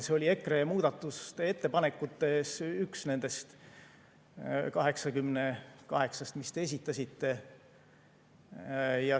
See oli EKRE muudatusettepanekutes üks nendest 88‑st, mis te esitasite.